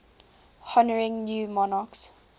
honouring new monarchs